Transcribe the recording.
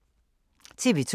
TV 2